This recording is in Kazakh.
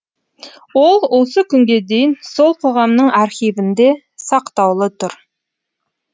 ол осы күнге дейін сол қоғамның архивінде сақтаулы тұр